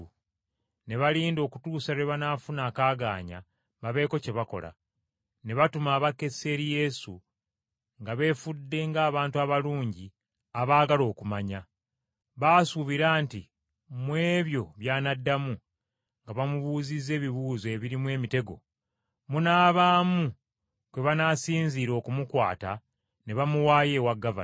Ne balinda okutuusa lwe banaafuna akaagaanya babeeko kye bakola. Ne batuma abakessi eri Yesu nga beefudde ng’abantu abalungi abaagala okumanya. Baasuubira nti mu ebyo by’anaddamu, nga bamubuuzizza ebibuuzo ebirimu emitego, munaabaamu kwe banaasinziira okumukwata ne bamuwaayo ewa gavana.